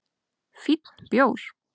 Fínn bjór